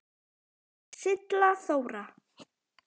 Silla Þóra.